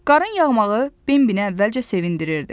Qarın yağmağı Bambini əvvəlcə sevindirirdi.